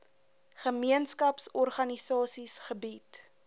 gemeenskaps organisasies gebied